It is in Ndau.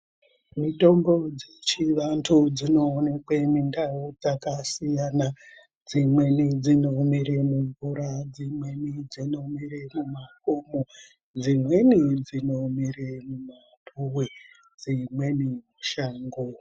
Mitombo dzechivantu dzinoonekwe mundau dzakasiyana. Dzimweni dzinomere mumvura, dzimweni dzinomere mumakomo, dzimweni dzinomere mumapuwe dzimweni mushango.